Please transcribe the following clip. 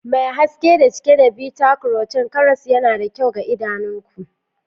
Mai haske da cike da beta-carotene, karas yana da kyau ga idanunku.